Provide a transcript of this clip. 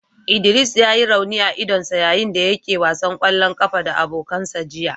Idris ya yi rauni a idonsa yayin da yake wasan kwallon kafa da abokansa jiya.